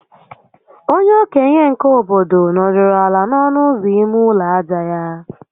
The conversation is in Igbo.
Onye okenye nke obodo nọdụrụ ala n'ọnụ ụzọ ime ụlọ aja ya